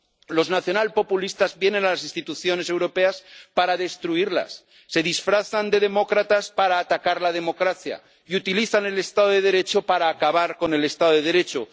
Los nacionalpopulistas vienen a las instituciones europeas para destruirlas, se disfrazan de demócratas para atacar la democracia y utilizan el Estado de Derecho para acabar con el Estado de Derecho.